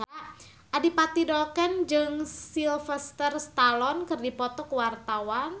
Adipati Dolken jeung Sylvester Stallone keur dipoto ku wartawan